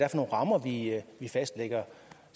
rammer vi fastlægger